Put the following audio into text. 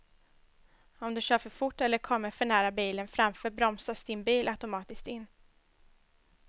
Om du kör för fort eller kommer för nära bilen framför bromsas din bil automatiskt in.